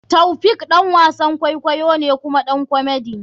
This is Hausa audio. Taofiq ɗan wasan kwaikwayo ne kuma ɗan komedy.